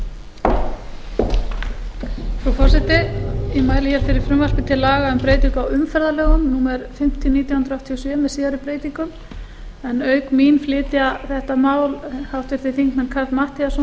frú forseta ég mæli fyrir frumvarpi til laga um breytingu á umferðarlögum númer fimmtíu nítján hundruð áttatíu og sjö með síðari breytingum auk mín flytja þetta mál háttvirts þingmanns karl matthíasson